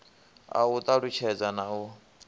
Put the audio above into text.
a u talutshedza na u